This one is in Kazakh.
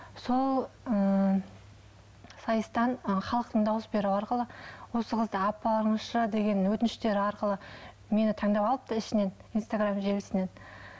сол ыыы сайыстан ы халықтың дауыс беруі арқылы осы қызды апарыңызшы деген өтініштер арқылы мені таңдап алыпты ішінен инстаграм желісінен